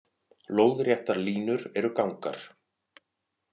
Lóðréttar línur eru gangar.